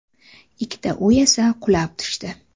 Ikkita uy esa qulab tushdi.